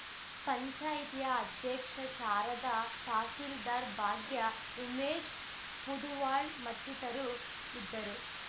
ಪಂಚಾಯಿತಿಯ ಅಧ್ಯಕ್ಷೆ ಶಾರದಾ ತಹಸಿಲ್ದಾರ್‌ ಭಾಗ್ಯ ಉಮೇಶ್‌ ಪುದುವಾಳ್‌ ಮತ್ತಿತರರು ಇದ್ದರು